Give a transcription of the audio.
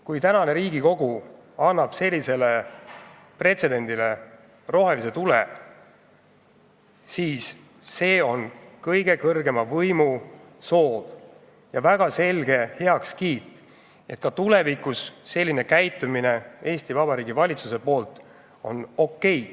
Kui tänane Riigikogu annab sellisele pretsedendile rohelise tule, siis see on kõige kõrgema võimu soov ja väga selge heakskiit, et ka tulevikus on Eesti Vabariigi valitsuse selline käitumine okei.